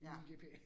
Ja